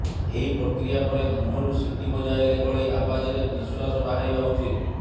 ଏହି ପ୍ରକ୍ରିୟା ପରେ ମୁହଁରୁ ସିଟି ବଜେଇଲା ଭଳି ଆବାଜରେ ନିଶ୍ୱାସ ବାହାରିବା ଉଚିତ୍